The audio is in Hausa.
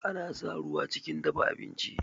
Ana sa ruwa chikin dafa abinchi